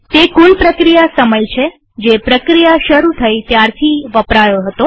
તે કુલ પ્રક્રિયા સમય છે જે પ્રક્રિયા શરુ થઇ ત્યારથી વપરાયો હતો